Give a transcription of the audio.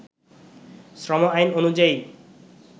শ্রম আইন অনুযায়ী